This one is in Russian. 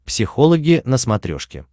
психологи на смотрешке